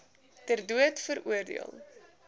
ter dood veroordeel